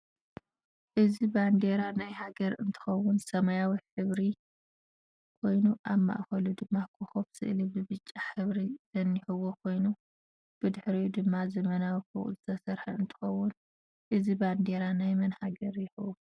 እዚ በንዴራ ናይ ሃገር እንትከውን ሰማያዊ ሕብሪ ኮይኑ ኣብ ማእከሉ ድማ ኮኮብ ስእሊ ብብጫ ሕብሪ ዝንህዎ ኮይኑ ብድሕርኡ ድማ ዘመናዊ ፎቅ ዝተሰርሐ እንትከውን እዝ ባንደራ ናይ መን ሃገር ይከውን?